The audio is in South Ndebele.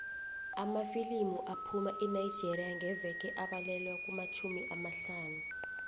amafilimu aphuma enigeria ngeveke abalelwa kumatjhumi amahlanu